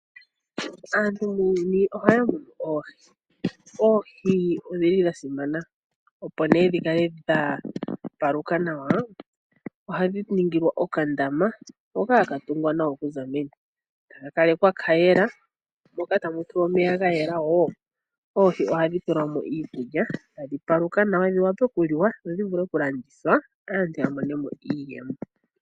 Aantu muuyuni ohaya munu oohi. O